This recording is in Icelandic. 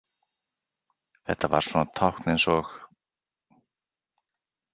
Þetta var svona tákn eins og.